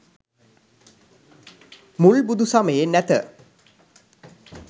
මුල් බුදු සමයේ නැත